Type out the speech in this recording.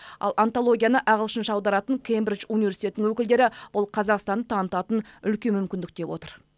ал антологияны ағылшынша аударатын кембридж университетінің өкілдері бұл қазақстанды танытатын үлкен мүмкіндік деп отыр